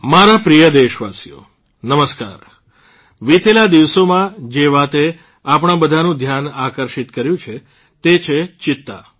મારા પ્રિય દેશવાસીઓ નમસ્કાર વિતેલા દિવસોમાં જે વાતે આપણા બધાંનું ધ્યાન આકર્ષિત કર્યું છે તે છે ચિત્તા